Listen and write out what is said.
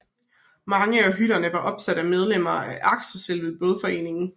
Mange af hytterne var opsat af medlemmer af Akerselvens bådforening